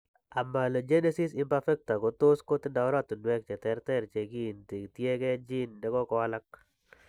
Amelogenesis imperfecta ko tos' kotindo oratunwek che terter che kiinti, tiyekeey gene ne ko walak.